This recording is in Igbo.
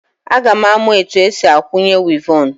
Aga m amụ otu esi akwanye wivọn.